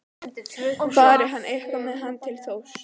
Fari hann eitthvað fer hann til Þórs.